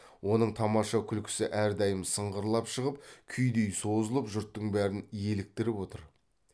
оның тамаша күлкісі әрдайым сыңғырлап шығып күйдей созылып жұрттың бәрін еліктіріп отыр